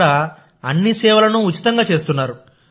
ఇక్కడ అన్ని సేవలను ఉచితంగా చేస్తున్నారు